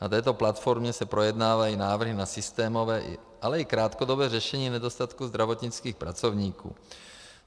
Na této platformě se projednávají návrhy na systémové, ale i krátkodobé řešení nedostatku zdravotnických pracovníků.